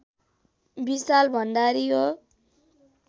विशाल भण्डारी हो